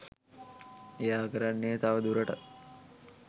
එයා කරන්නේ තවදුරටත්